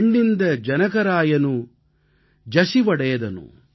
பெண்ணிந்த ஜனகராயனு ஜஸுவடேdhaனு